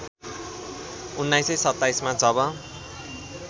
१९२७ मा जब